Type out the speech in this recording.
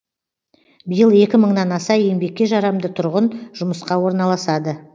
биыл екі мыңнан аса еңбекке жарамды тұрғын жұмысқа орналасады